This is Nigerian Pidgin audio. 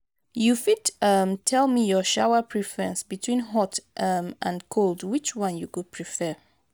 you fit tell um me your shower preference between hot um and cold which one you go prefer?